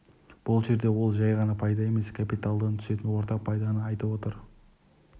бұл жерде ол жай ғана пайда емес капиталдан түсетін орта пайданы айтып отыр